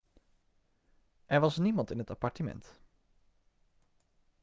er was niemand in het appartement